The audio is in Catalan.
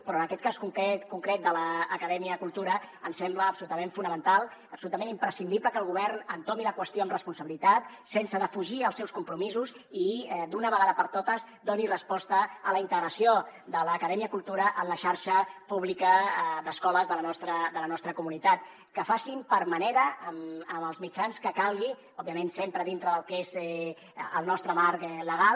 però en aquest cas concret de l’acadèmia cultura ens sembla absolutament fonamental absolutament imprescindible que el govern entomi la qüestió amb responsabilitat sense defugir els seus compromisos i d’una vegada per totes doni resposta a la integració de l’acadèmia cultura a la xarxa pública d’escoles de la nostra comunitat que facin per manera amb els mitjans que calguin òbviament sempre dintre del que és el nostre marc legal